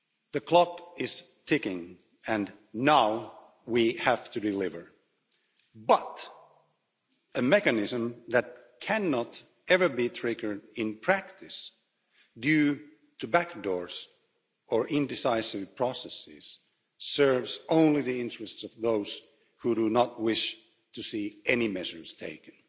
The clock is ticking, and now we have to deliver, but a mechanism that cannot ever be triggered in practice due to back doors or indecisive processes serves only the interests of those who do not wish to see any measures taken.